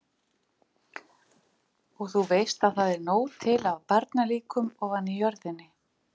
Og þú veist að það er nóg til af barnalíkum ofan í jörðinni.